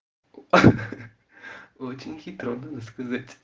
очень хитро можно сказать